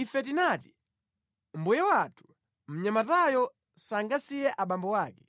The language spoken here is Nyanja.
Ife tinati, ‘Mbuye wathu, mnyamatayo sangasiye abambo ake,